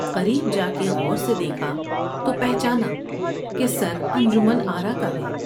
قریب جا کے غور سے دیکھا تو پہچانا کہ سرانجمن آرا کا ہے ۔